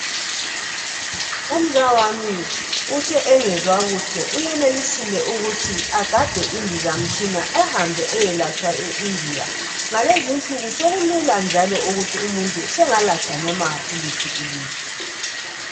Umzawami uthi engezwa kuhle uyenelisile ukuthi agade indizamtshina ahambe ayelatshwa eIndia ngalezi insuku sokulula njalo ukuthi umuntu sengalatshwa noma kuliphi ilizwe